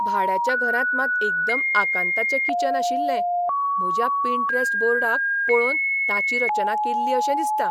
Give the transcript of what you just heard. भाड्याच्या घरांत मात एकदम आकांताचे किचन आशिल्लें म्हज्या पिन्टरॅस्ट बोर्डाक पळोवन ताची रचना केल्ली अशें दिसता!